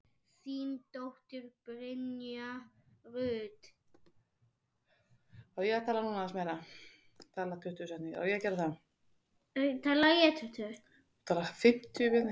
Þín dóttir, Brynja Rut.